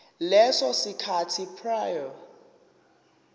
leso sikhathi prior